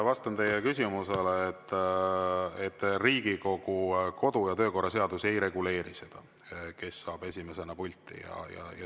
Vastan teie küsimusele, et Riigikogu kodu- ja töökorra seadus ei reguleeri seda, kes saab esimesena pulti.